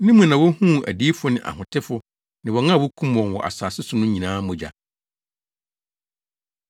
Ne mu na wohuu adiyifo ne ahotefo ne wɔn a wokum wɔn wɔ asase so no nyinaa mogya.”